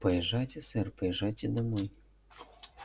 поезжайте сэр поезжайте домой